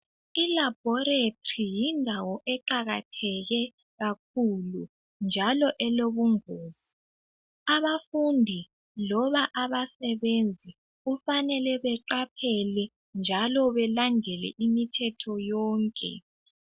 ILaboratory yindawo eqakatheke kakhulu njalo elobungozi. Abafundi loba abasebenzi kufanele baqaphele njalo balandele imithetho yonke.